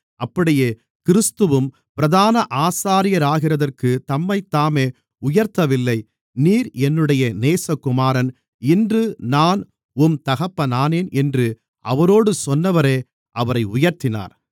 அப்படியே கிறிஸ்துவும் பிரதான ஆசாரியராகிறதற்குத் தம்மைத்தாமே உயர்த்தவில்லை நீர் என்னுடைய நேசகுமாரன் இன்று நான் உம் தகப்பனானேன் என்று அவரோடு சொன்னவரே அவரை உயர்த்தினார்